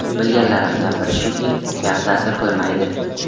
Bilganlarimdan biri shuki, gap ta’sir qilmaydi.